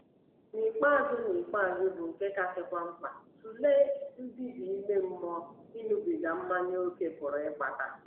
N’ikpeazụ N’ikpeazụ, bụ́ nke kasịkwa mkpa, tụlee mbibi ime mmụọ ịṅụbiga mmanya ókè pụrụ ịkpata.